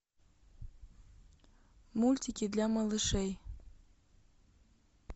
мультики для малышей